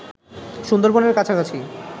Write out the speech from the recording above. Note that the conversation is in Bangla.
সুন্দরবনের কাছাকাছি